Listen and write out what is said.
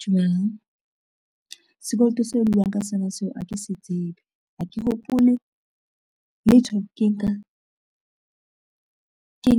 Dumelang, sekoloto seo buang ka sona seo ha ke se tsebe, ha ke hopole letho ke